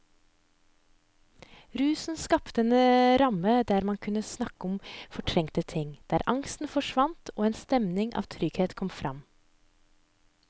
Rusen skapte en ramme der man kunne snakke om fortrengte ting, der angst forsvant og en stemning av trygghet kom fram.